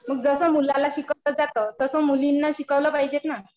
मग जसं मुलाला शिकवलं जातं तसं मुलींना शिकवलं पाहिजे ना.